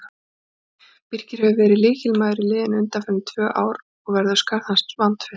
Birkir hefur verið lykilmaður í liðinu undanfarin tvö ár og verður skarð hans vandfyllt.